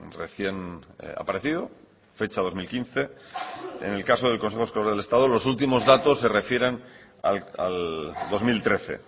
recién aparecido fecha dos mil quince en el caso del consejo escolar del estado los últimos datos se refieren al dos mil trece